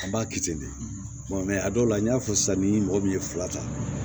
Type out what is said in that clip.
A b'a kɛ ten de a dɔw la n y'a fɔ sisan ni mɔgɔ min ye fila ta